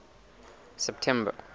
september